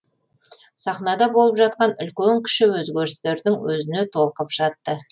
сахнада болып жатқан үлкен кіші өзгерістердің өзіне толқып жатты